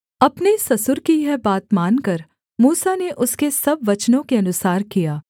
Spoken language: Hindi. अपने ससुर की यह बात मानकर मूसा ने उसके सब वचनों के अनुसार किया